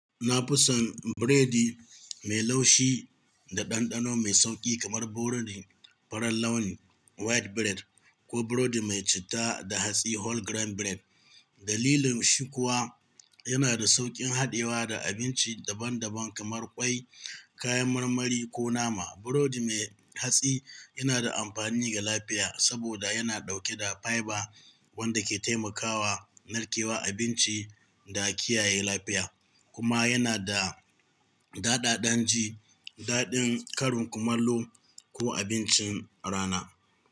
Na fi son burodi mai laushi da ɗanɗano mai sauƙi kamar burodi farar launi white bread ko burodi mai cita da hatsi. Dalilin shi kuwa yana da sauƙin haɗewa da abinci daban-daban kamar ƙwai, kayan marmari, ko nama. Burodi mai hatsi yana da amfani ga lafiya saboda yana ɗauke da fiber wanda ke taimakawa narkewa abinci da kiyaye lafiya, kuma yana da daɗaɗan ji daɗin karin kumallo ko abincin rana.